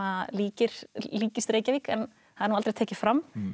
líkist líkist Reykjavík en það er nú aldrei tekið fram